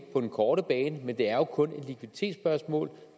på den korte bane men det er jo kun et likviditetsspørgsmål